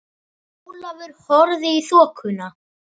Ólafur horfði í þokuna.